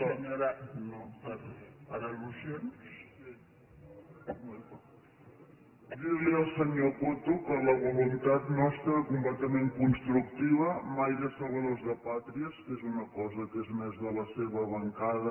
dir li al senyor coto que la voluntat nostra era completament constructiva mai de salvadors de pàtries que és una cosa que és més de la seva bancada